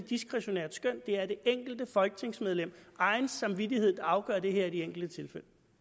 diskretionært skøn det er det enkelte folketingsmedlems egen samvittighed der afgør det her i de enkelte